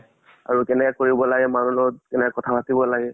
আৰু কেনেকা কৰিব লাগে মানুহৰ লগত, কেনেকা কথা পাতিব লাগে।